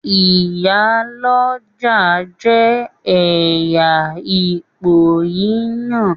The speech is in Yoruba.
Ìyál'ọ́jà jẹ ẹyà ipò yíyan